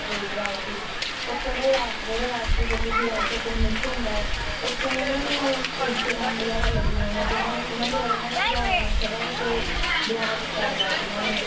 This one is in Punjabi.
ਲੋਕ ਰਾਜ ਸੀ, ਉੱਥੋਂ ਦੇ ਰਾਸ~ ਜਿਹੜੇ ਰਾਸ਼ਟਰਪਤੀ ਸੀ ਰਾਸ਼ਟਰ ਪ੍ਰਮੁੱਖ ਹੁੰਦਾ ਹੈ, ਉੱਥੋਂ ਦੇ ਇਹਨਾਂ ਨੇ ਕੋਈ ਚੌਣ ਵਗ਼ੈਰਾ ਲੜੀ ਹੋਣੀ ਆਂ, ਜਿਹਨਾਂ ਜਿਹਨਾਂ ਦੁਆਰਾ ਇਹਨਾਂ ਨੂੰ ਵਿਧਾਨ ਸਭਾ ਵਿੱਚ ਦੁਆਰਾ ਕੀਤਾ ਗਿਆ ਸੀ ਇਹਨਾਂ ਨੇ,